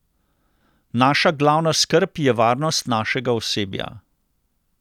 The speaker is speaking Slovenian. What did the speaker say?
Naša glavna skrb je varnost našega osebja.